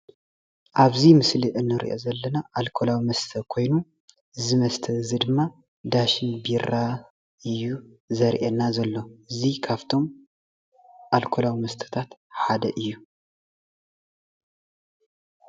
ኣብዚ ምስሊ እንሪኦ ዘለና ኣልኮላዊ መሦተ ኮይኑ እዚ መስተ ድማ ዳሽን ቢራ እዩ ዝርአየና ዘሎ እዙይ ካፍቶም ኣልኮላዊ መስታት ሐደ እዩ።